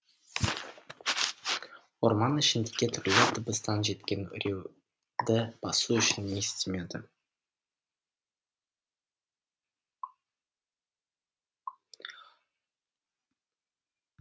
орман ішіндегі түрлі дыбыстан жеткен үрейді басу үшін не істемеді